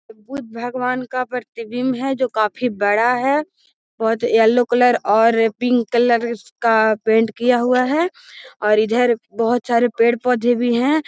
बुध भगवन का प्रतिबिम्ब है जो काफी बड़ा है बहुत येलो कलर और पिंक का पैंट किया हुआ है और इधर बहुत सरे पेड़ पौधे भी हैं I